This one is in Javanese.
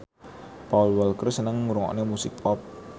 Paul Walker seneng ngrungokne musik pop